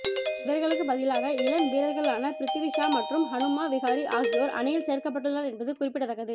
இவர்களுக்கு பதிலாக இளம் வீரர்களான பிரித்வி ஷா மற்றும் ஹனுமா விஹாரி ஆகியோர் அணியில் சேர்க்கப்பட்டுள்ளனர் என்பது குறிப்பிடத்தக்கது